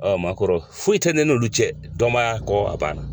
Ɔ o m'a k'o rɔ foyi tɛ ne n'olu cɛ dɔnbaya kɔ a banna.